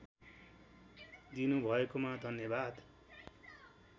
दिनु भएकोमा धन्यवाद